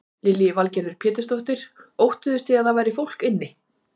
Lillý Valgerður Pétursdóttir: Óttuðust þið að það væri fólk inni?